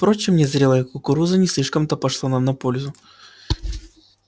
впрочем незрелая кукуруза не слишком-то пошла нам на пользу